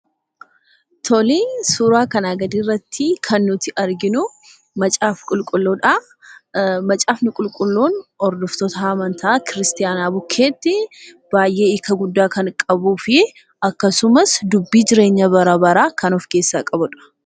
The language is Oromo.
Suuraa kanaa gadii irratti kan nuti arginuu, Macaafa Qulqulluudha. Macaafni Qulqulluun hordoftoota amantaa Kiristaanaa bukkeetti baayyee hiika guddaa kan qabuu fi akkasumas dubbii jireenya bara baraa kan of keessaa qabudha.